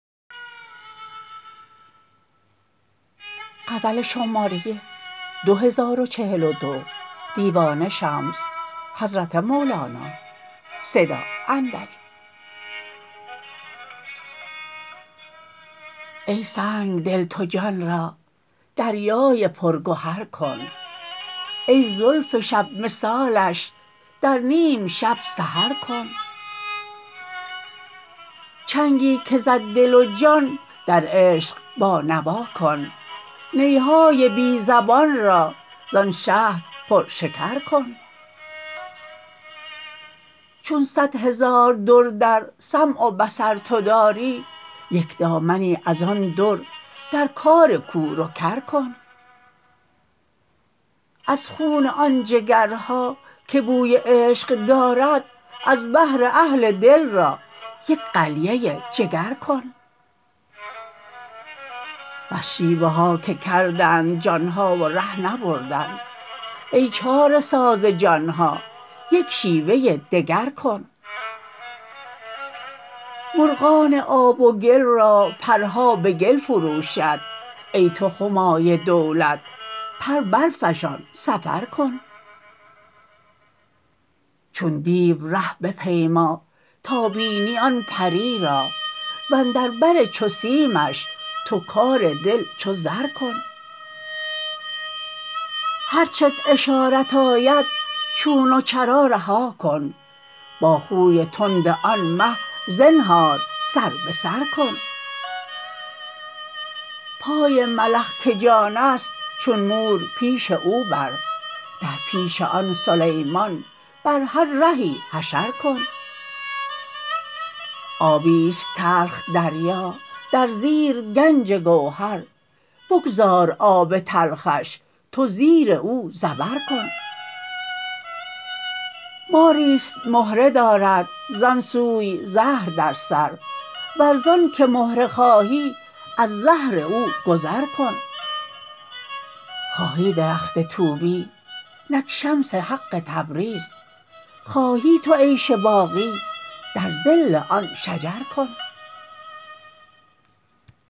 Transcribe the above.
ای سنگ دل تو جان را دریای پرگهر کن ای زلف شب مثالش در نیم شب سحر کن چنگی که زد دل و جان در عشق بانوا کن نی های بی زبان را زان شهد پرشکر کن چون صد هزار در در سمع و بصر تو داری یک دامنی از آن در در کار کور و کر کن از خون آن جگرها که بوی عشق دارد از بهر اهل دل را یک قلیه جگر کن بس شیوه ها که کردند جان ها و ره نبردند ای چاره ساز جان ها یک شیوه دگر کن مرغان آب و گل را پرها به گل فروشد ای تو همای دولت پر برفشان سفر کن چون دیو ره بپیما تا بینی آن پری را و اندر بر چو سیمش تو کار دل چو زر کن هر چت اشارت آید چون و چرا رها کن با خوی تند آن مه زنهار سر به سر کن پای ملخ که جان است چون مور پیش او بر در پیش آن سلیمان بر هر رهی حشر کن آبی است تلخ دریا در زیر گنج گوهر بگذار آب تلخش تو زیر او زبر کن ماری است مهره دارد زان سوی زهر در سر ور ز آنک مهره خواهی از زهر او گذر کن خواهی درخت طوبی نک شمس حق تبریز خواهی تو عیش باقی در ظل آن شجر کن